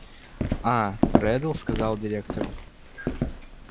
а реддл сказал директору